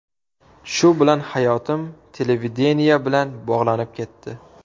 Shu bilan hayotim televideniye bilan bog‘lanib ketdi.